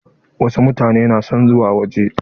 Wasu mutane na son zuwa waje.